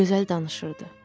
O gözəl danışırdı.